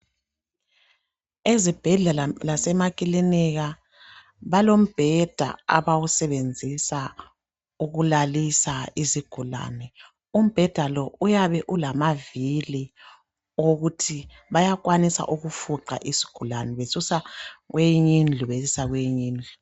Ezibhedlela lasemakilinika balombheda abawusebenzisa ukulalisa izigulane. Umbheda lo uyabe ulamavili owokuthi bayakwanisa ukufuqa isigulane besusa kweyinye indlu besisa kweyinye indlu.